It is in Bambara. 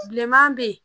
Bilenman bɛ yen